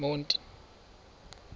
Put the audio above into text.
monti